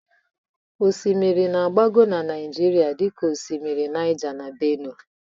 Osimiri na-agbagọ na Naịjirịa dịka osimiri Naija na Bénuè.